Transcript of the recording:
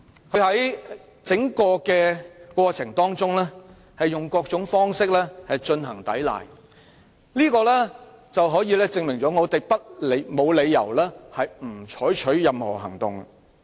何君堯議員在整個過程中以各種方式抵賴，證明我們沒有理由不採取任何行動。